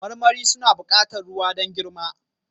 Marmari suna buƙatar ruwa don girma